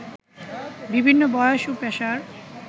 বিভিন্ন বয়স ও পেশার